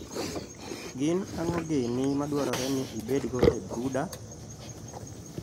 gin ang`o gini madwarore ni ibedgo e broooder?